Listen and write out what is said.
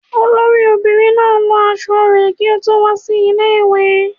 Olori omobirin na lò aṣọ re ki o to wa si ile-iwe